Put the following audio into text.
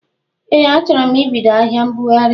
Ee achọro m ibido ahịa mbụghari.